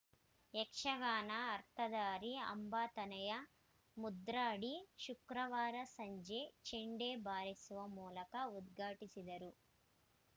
ಯಕ್ಷಗಾನ ಅರ್ಥಧಾರಿ ಅಂಬಾತನಯ ಮುದ್ರಾಡಿ ಶುಕ್ರವಾರ ಸಂಜೆ ಚೆಂಡೆ ಬಾರಿಸುವ ಮೂಲಕ ಉದ್ಘಾಟಿಸಿದರು